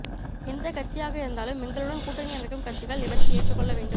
எந்த கட்சியாக இருந்தாலும் எங்களுடன் கூட்டணி அமைக்கும் கட்சிகள் இவற்றை ஏற்றுக்கொள்ள வேண்டும்